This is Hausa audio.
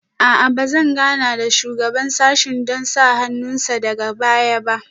A'a ba zan gana da shugaban sashen don sa hannun sa daga baya ba